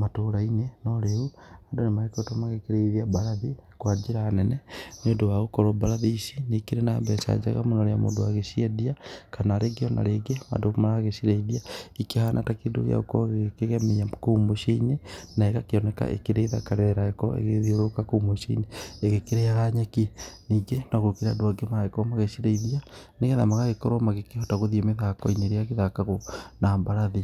matũra-inĩ, no rĩu andũ nĩ magĩkoretwo magĩkĩrĩithia mbarathi kwa njĩra nene, nĩũndũ wa gũkorwo mbarathi ici nĩ ikĩrĩ na mbeca njega mũno rĩrĩa mũndũ agĩciendia, kana rĩngĩ o na rĩngĩ, andũ maragĩcirĩithia ikĩhana ta kĩndũ gĩa gũkorwo gĩgĩkĩgemia kou mũciĩ-inĩ na ĩgakíoneka ĩkĩrĩ thaka rĩrĩa ĩragĩkorwo ĩgĩthiũrũrũka kũu mũciĩ-inĩ ĩgĩkĩrĩaga nyeki, ningĩ no gũkĩrĩ andũ angĩ maragĩkorwo magĩcirĩithia, nĩgetha magagĩkorwo magĩkĩhota gũthiĩ mĩthako-inĩ ĩrĩa ĩgĩthakagwo na mbarathi.